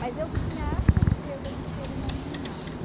Mas eu tinha a certeza de que ele não me amava.